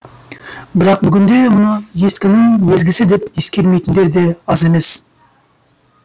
бірақ бүгінде мұны ескінің езгісі деп ескермейтіндер де аз емес